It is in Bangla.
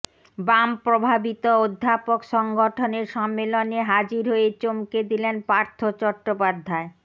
বাম প্রভাবিত অধ্যাপক সংগঠনের সম্মেলনে হাজির হয়ে চমকে দিলেন পার্থ চট্টোপাধ্যায়